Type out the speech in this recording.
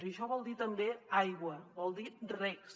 i això vol dir també aigua vol dir regs